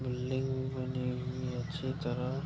building बनी हुई है अच्छी तरह --